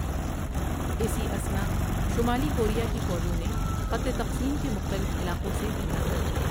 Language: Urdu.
اِسی اثناء شمالی کوریا کی فوجوں نے خطِ تقسیم کے مختلف علاقوں سے حملہ کر دیا ۔